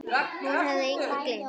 Hún hafði engu gleymt.